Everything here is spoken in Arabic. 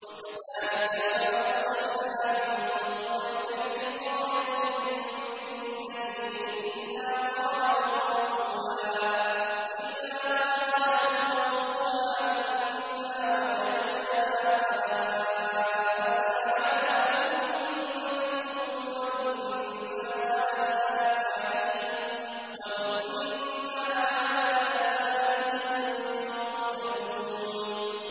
وَكَذَٰلِكَ مَا أَرْسَلْنَا مِن قَبْلِكَ فِي قَرْيَةٍ مِّن نَّذِيرٍ إِلَّا قَالَ مُتْرَفُوهَا إِنَّا وَجَدْنَا آبَاءَنَا عَلَىٰ أُمَّةٍ وَإِنَّا عَلَىٰ آثَارِهِم مُّقْتَدُونَ